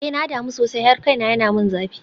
Eh na damu sosai har kaina yana min zafi.